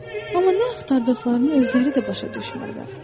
Amma nə axtardıqlarını özləri də başa düşmürlər.